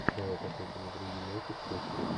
давай посмотрим игру юнайтед с лестером